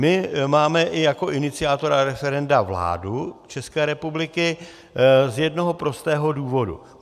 My máme i jako iniciátora referenda vládu České republiky, z jednoho prostého důvodu.